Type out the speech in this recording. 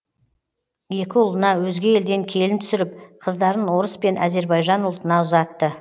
екі ұлына өзге елден келін түсіріп қыздарын орыс пен әзербайжан ұлтына ұзатты